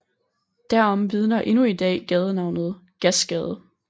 Derom vidner endnu i dag gadenavnet Gasgade